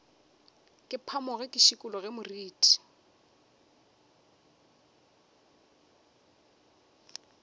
ke phamoge ke šikologe moriti